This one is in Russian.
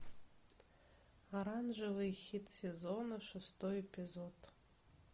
оранжевый хит сезона шестой эпизод